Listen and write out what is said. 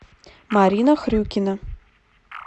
марина хрюкина